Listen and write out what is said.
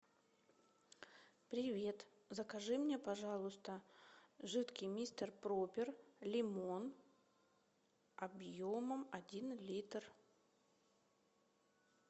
привет закажи мне пожалуйста жидкий мистер пропер лимон объемом один литр